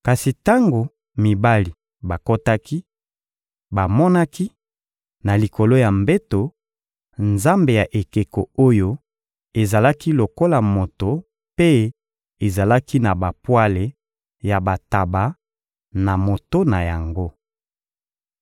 Kasi tango mibali bakotaki, bamonaki, na likolo ya mbeto, nzambe ya ekeko oyo ezalaki lokola moto mpe ezalaki na bapwale ya bantaba na moto na yango.